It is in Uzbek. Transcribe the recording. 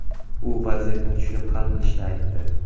U vaziyatni tushunib hal qilishini aytdi.